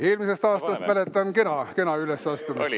Eelmisest aastast mäletan, et kena ülesastumine oli.